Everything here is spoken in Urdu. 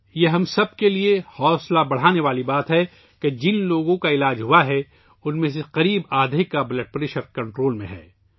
یہ بات ہم سب کے لئے حوصلہ افزا ہے کہ جن لوگوں کا علاج کیا گیا ہے ، ان میں سے تقریباً آدھے کا بلڈ پریشر اب کنٹرول میں ہے